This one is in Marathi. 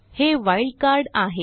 हे वाइल्ड कार्ड आहे